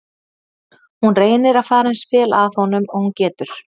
Hún reynir að fara eins vel að honum og hún getur.